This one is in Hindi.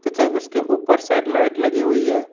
तथा उसके ऊपर शायद लाइट लगी हुई है।